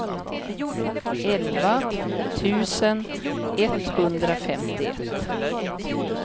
elva tusen etthundrafemtioett